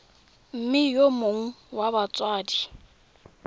mme yo mongwe wa batsadi